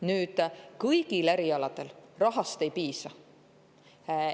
Nüüd, kõigil erialadel rahast ei piisa.